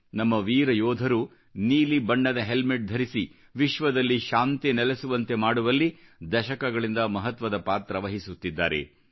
ನಮ್ಮ ವೀರ ಯೋಧರು ನೀಲಿ ಬಣ್ಣದ ಹೆಲ್ಮೆಟ್ ಧರಿಸಿ ವಿಶ್ವದಲ್ಲಿ ಶಾಂತಿ ನೆಲೆಸುವಂತೆ ಮಾಡುವಲ್ಲಿ ದಶಕಗಳಿಂದ ಮಹತ್ವದ ಪಾತ್ರ ವಹಿಸುತ್ತಿದ್ದಾರೆ